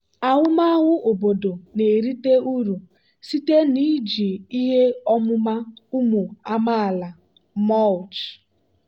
ahụmahụ obodo na-erite uru site na iji ihe ọmụma ụmụ amaala mulch.